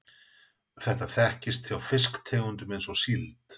þetta þekkist hjá fiskitegundum eins og síld